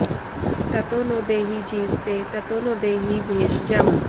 ततो॑ नो देहि जी॒वसे॒ ततो॑ नो धेहि भेष॒जम्